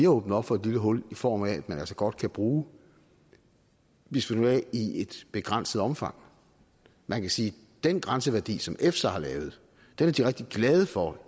åbnet op for et lille hul i form af at man altså godt kan bruge bisfenol a i et begrænset omfang man kan sige at den grænseværdi som efsa har lavet er de rigtig glade for